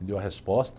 Me deu a resposta.